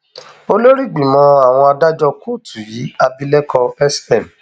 olórí ìgbìmọ àwọn adájọ kóòtù yìí abilékọ sm